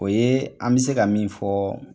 O ye an bi se ka min fɔ